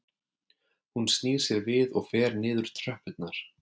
Hún snýr sér við og fer niður tröppurnar